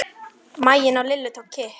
Maginn í Lillu tók kipp.